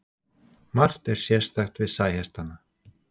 margt er sérstakt við sæhestana